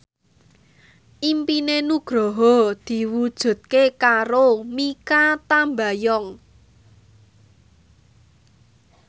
impine Nugroho diwujudke karo Mikha Tambayong